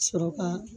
Sɔrɔ ka